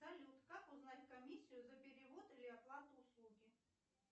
салют как узнать комиссию за перевод или оплату услуги